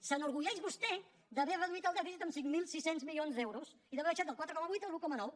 s’enorgulleix vostè d’haver reduït el dèficit en cinc mil sis cents milions d’euros i d’haver baixat del quatre coma vuit a l’un coma nou